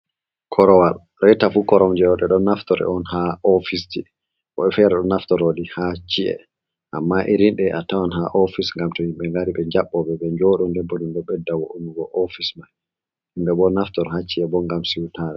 Korowal reta fu koromje ɓe ɗo naftore on ha ofisji woɓɓe fere ɗo naftoroli ha ci’e amma irin ɗe a tawan ha ofis ngam tow himɓe ngari ɓe jaɓɓobe ɓe njoɗo nde bo bedda wo'ingo ofis mai himɓe bo naftori ha ci'e bo ngam siwtare.